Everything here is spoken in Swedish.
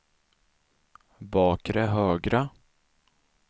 bakre högra